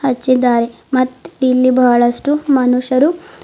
ಹಚ್ಚಿದ್ದಾರೆ ಮತ್ತ್ ಇಲ್ಲಿ ಬಹಳಷ್ಟು ಮನುಷ್ಯರು--